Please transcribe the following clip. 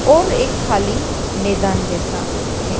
और एक खाली मैदान जैसा है।